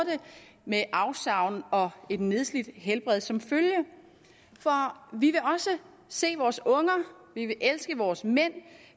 med afsavn og et nedslidt helbred som følge for vi vil også se vores unger vi vil elske vores mænd